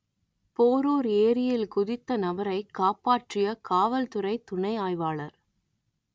போரூர் ஏரியில் குதித்த நபரை காப்பாற்றிய காவல்துறை துணை ஆய்வாளர்